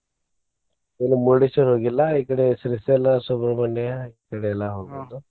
ಇಲ್ಲ Murdeshwar ಹೋಗಿಲ್ಲಾ ಈಕಡೆ Srisaila Subhramanya ಈಕಡೆ ಎಲ್ಲಾ ಹೋಗಿದ್ದು.